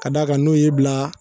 Ka d'a kan n'o ye bila